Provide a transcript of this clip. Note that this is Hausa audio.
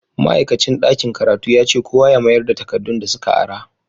Ma'aikacin dakin karatu yace kowa ya mayarda takadun da suka ara.